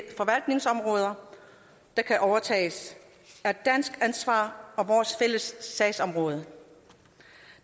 forvaltningsområder der kan overtages er dansk ansvar og vores fælles sagsområde